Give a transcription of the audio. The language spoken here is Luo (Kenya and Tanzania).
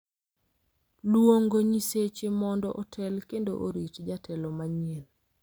Luongo nyiseche mondo otel kendo orit jatelo manyien .